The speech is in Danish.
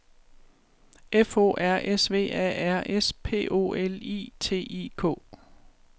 F O R S V A R S P O L I T I K